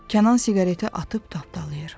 Kənan siqareti atıb tapdalayır.